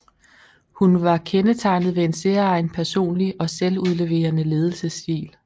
Hun var kendetegnet ved en særegen personlig og selvudleverende ledelsesstil